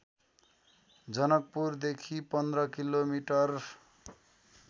जनकपुरदेखी १५ किमि